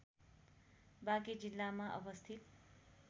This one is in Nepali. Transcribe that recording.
बाँके जिल्लामा अवस्थित